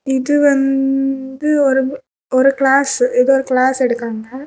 இது வந்ந்து ஒரு ஒரு கிளாஸ் . ஏதோ ஒரு கிளாஸ் எடுக்குறாங்க.